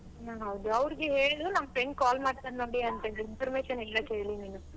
ಅವ್ರಿಗೆ ಹೇಳು ನನ್ friend call ಮಾಡ್ತಾರೆ ನೋಡಿ ಅಂತ information ಎಲ್ಲ ಕೇಳೀನಿ ಅಂತ.